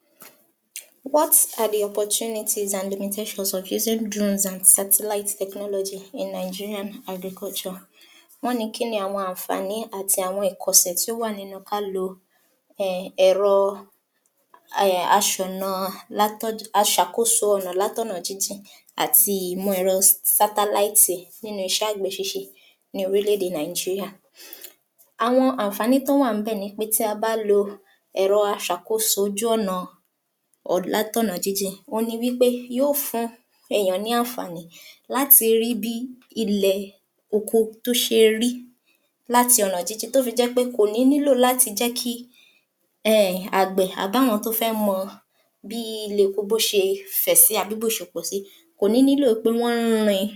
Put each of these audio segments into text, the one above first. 48. What are the opportunities and the implementation of using drones and satellite technology in Nigerian agriculture. Wọ́n ní kí ni àwọn àǹfààní àti àwọn ẹ̀kọsẹ̀ tí ó wà nínú ká lo um ẹ̀rọ um aṣọ̀na um aṣàkóso ọnà látọ̀nà jínjìn àti ìmọ̀ ẹ̀rọ Satellite nínú iṣẹ́ àgbẹ̀ ṣíṣe ní orílẹ̀ èdè Nigeria, awon àǹfààní tó wà ń bẹ̀ ni pé tí a bá lo ẹ̀rọ aṣàkóso ojú-ọ̀nà um látọ̀nà jínjìn ohun ni wí pé yó fún èèyàn ní àǹfààní láti rí bí ilẹ̀ oko tó ṣe rí láti ọ̀nà jínjìn tó fi jẹ́ pé kò ní nílò láti jẹ́ kí um àgbẹ̀ àbáwọn tó fẹ́ mọ bí ilẹ̀ oko bó ṣe fẹ̀ sí àbí bó ṣe pọ̀sí kò ní nílò pé wọ́n ń rin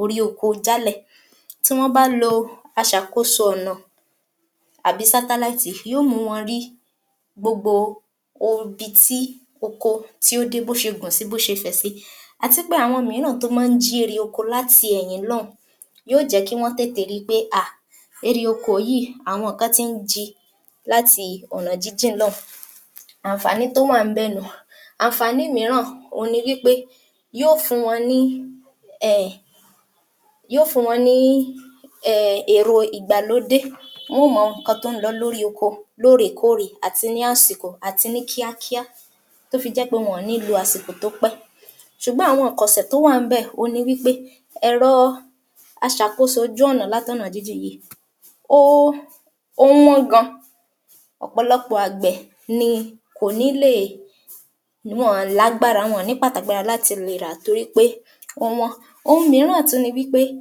orí oko jálẹ̀ tí wọ́n bá lo aṣàkóso ọ̀nà àbí satellite yó mùú wọn rí gbogbo odi tí oko tí ó dé bó ṣe gùn sí bó ṣe fẹ̀ sí àti pé àwọn mìíràn tó máa ń jí erè oko láti ẹ̀yìn lọ́ùú yó jẹ̀ẹ́ kí wọ́n tètè ríi pé à èrè oko yìí àwọn kan ti ń ji láti ọ̀nà jínjìn lọ́ùn-ún. Àǹfààní tó wà ń bẹ̀ nù un. Àǹfààní mìíràn ohun ni wí pé yó fùn-ún wọn ní [umumum] èrò ìgbàlódé wọ́n ó mọ nǹkan tó ń lọ lórí oko lóòrèkóòrè àti ní àsìkò àti ní kíákíá tó fi jẹ́ pé wọn ní lo àsìkò tópẹ́ ṣùgbọ́n àwọn ìkọ̀sẹ̀ tó wà ń bẹ̀, òhun ni wí pé ẹ̀rọ aṣàkóso ojú-ọ̀nà látọ̀nà jínjìn yìí um ó wọ́n gan ọ̀pọ̀lọpọ̀ àgbẹ̀ kò ní lè wọn lágbára wọn ní láti lè ràá torí pé ó wọ́n. Ohun mìíràn tú ni wí pé um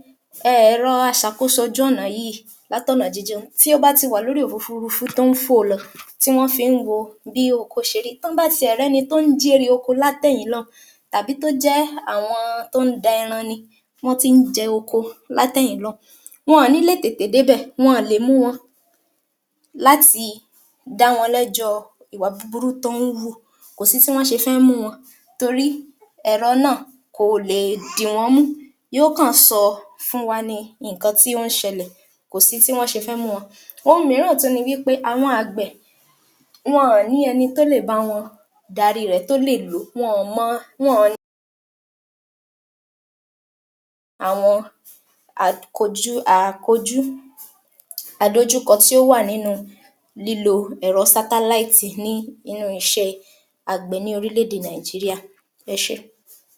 ẹ̀rọ aṣàkóso ojú-ọ̀nà yìí látọ̀nà jínjìn tí ó bá ti wà lórí òfufurufú tó ń fò lọ tí wọ́n fi ń wo bí oko ṣe rí tán bá ti ẹ̀ rí ẹni tó ń jí erè oko látẹ̀yìn lọ́ùn-ún tàbí tó jẹ́ àwọn tó ń da ẹran ni wọ́n ti ń jẹ oko látẹ̀yìn lọ́ùn-ún. Wọn ní lè tètè débẹ̀, wọn lẹ̀ mú wọn láti dá wọn lẹ́jọ́ ọ ìwà búburú tán ń wù kòsí tí wọ́n ṣe fẹ́ mú wọn torí ẹ̀rọ náà kò lè dìwọ́nmú yó kan sọ fún wa ni nǹkan tí ó ń ṣẹlẹ̀ kò sí tí wọ́n ṣe fẹ́ mú wọn. Ohun mìíràn tú ni wí pé àwọn àgbẹ̀ wọn ní ẹni tó lè bá wọn dáríi rẹ̀ tó lè lò ó wọn mọ àwọn [umum l] àdojúkọ tí ó wà nínu lílo ẹ̀rọ Satellite ní inú iṣẹ́ẹ àgbẹ̀ ní orílẹ̀-èdè Nigeria. Ẹ ṣé.